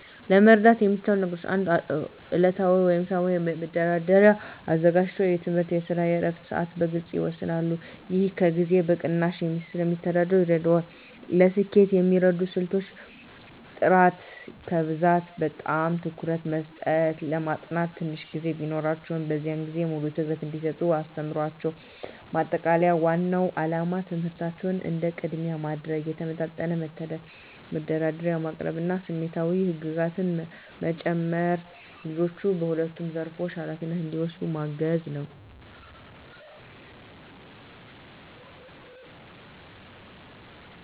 ለመርዳት የሚቻሉ ነገሮች 1. ዕለታዊ ወይም ሳምንታዊ መደርደሪያ አዘጋጅተው የትምህርት፣ የስራ እና የዕረፍት ሰዓትን በግልፅ ይወስኑላቸው። ይህ ጊዜን በቅናሽ እንዲያስተዳድሩ ይረዳቸዋል። ለስኬት የሚረዱ ስልቶች · ጥራት ከብዛት በላይ ትኩረት መስጠት ለማጥናት ትንሽ ጊዜ ቢኖራቸውም፣ በዚያን ጊዜ ሙሉ ትኩረት እንዲሰጡ አስተምሯቸው። ማጠቃለያ ዋናው ዓላማ ትምህርታቸውን እንደ ቅድሚያ ማድረግ፣ የተመጣጠነ መደርደሪያ ማቅረብ እና ስሜታዊ ህግጋት በመጨመር ልጆቹ በሁለቱም ዘርፎች ኃላፊነታቸውን እንዲወጡ ማገዝ ነው።